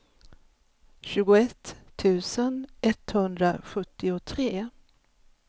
tjugoett tusen etthundrasjuttiotre